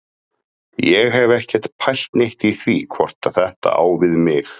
Ég hef ekkert pælt neitt í því hvort þetta á við mig.